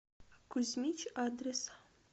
кузьмич адрес